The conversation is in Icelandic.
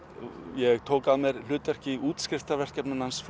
ég tók að mér hlutverk í útskrifarverkefninu hans